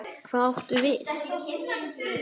Hvað áttu við?